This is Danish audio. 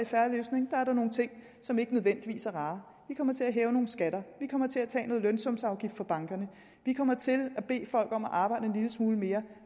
fair løsning er nogle ting som ikke nødvendigvis er rare vi kommer til at hæve nogle skatter vi kommer til at tage noget lønsumsafgift fra bankerne og vi kommer til at bede folk om at arbejde en lille smule mere